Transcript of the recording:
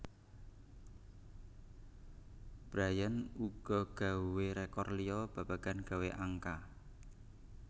Bryant uga gawé rékor liya babagan gawé angka